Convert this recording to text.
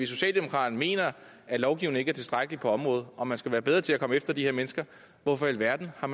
socialdemokraterne mener at lovgivningen ikke er tilstrækkelig på området og man skal være bedre til at komme efter de her mennesker hvorfor i alverden har